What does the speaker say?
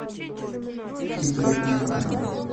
игры эндера